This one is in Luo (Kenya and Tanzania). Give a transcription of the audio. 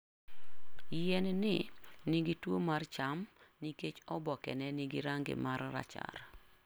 Yien-ni nigi tuwo mar cham nikech obokene nigi rangi mar rachar.